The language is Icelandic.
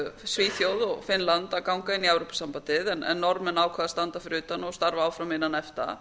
svíþjóð og finnland að ganga í evrópusambandið en norðmenn ákváðu að standa fyrir utan og starfa áfram innan efta